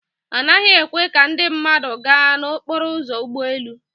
Anaghị ekwe ka ndị mmadụ gaa n'okporo ụzọ ụgbọ elu.